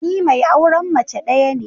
Ni mai auren mace daya ne.